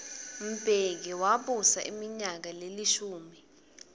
mbeki wabusa iminyaka lelishumi